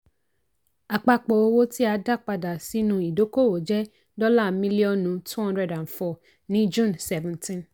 àpapọ̀ owó tí a dá padà sínú ìdókòwò jẹ́ dọ́là mílíọ̀nù two hundred and four ní june seventeen.